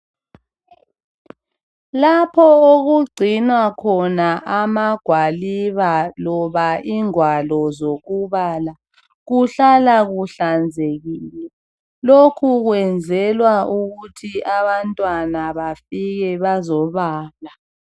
Lapho okugcinwa khona amagwaliba loba ingwalo zokubala kuhlala kuhlanzekile lokhu kwenzelwa ukuthi abantwana bafike bazobala.